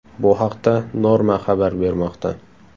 Bu haqda Norma xabar bermoqda.